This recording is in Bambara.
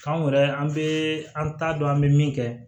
Anw yɛrɛ an bɛ an t'a dɔn an bɛ min kɛ